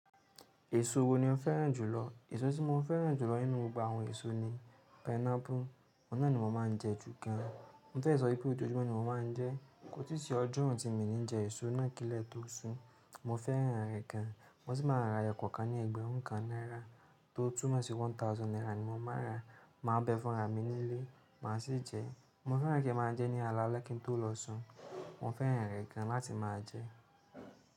Èso wo ni o fẹ́ràn jùlọ? Èso tí mo fẹ́ràn jù lọ nínú gbogbo àwọn èso ni pineapple òun náà ni mo máa ń jẹ jù gan. Mo fẹ́ sọ wípé ojoojúmọ́ ni mo máa ń jẹ, kò tì sí ọjọ́ náà tí mi ní jẹ èso náà kí lẹ tó sù. Mo fẹ́ràn rẹ̀ gan. Mo sì máa ń rà ẹyọ kọ̀ọ̀kan ní ẹgbẹ̀rún kan náírà tó túmọ̀ sí one thousand naira ni mo máa ń rà ma bẹ̀ẹ̀ fún ra mi nílé ma sìí jẹ. Mo fẹ́ràn kí n máa jẹ ní alaalẹ́ kí n tó lọ sùn. Mo fẹ́ràn rẹ̀ gan láti máa jẹ.